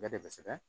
Bɛɛ de bɛ sɛgɛ